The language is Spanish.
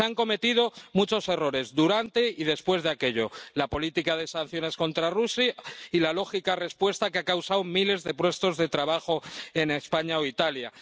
Se han cometido muchos errores durante y después de aquello la política de sanciones contra Rusia y la lógica respuesta, que ha causado la pérdida de miles de puestos de trabajo en España o Italia.